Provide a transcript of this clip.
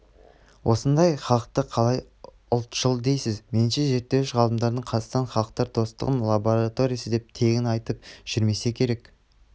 осындай халықты қалай ұлтшыл дейсіз меніңше зерттеуіш ғалымдарымыз қазақстан халықтар достығының лабораториясы деп тегін айтып жүрмесе керек